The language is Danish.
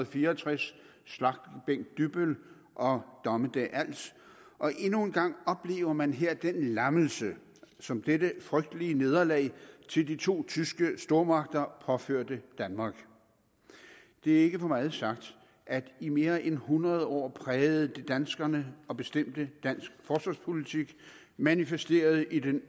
fire og tres slagtebænk dybbøl og dommedag als og endnu en gang oplever man her den lammelse som dette frygtelige nederlag til de to tyske stormagter påførte danmark det er ikke for meget sagt at det i mere end hundrede år prægede danskerne og bestemte dansk forsvarspolitik manifesteret i den